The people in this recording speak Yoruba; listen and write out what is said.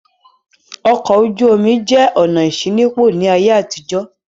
Ọkọ̀ ojú-omi jẹ́ ọ̀nà ìṣínípò ní ayé àtijó.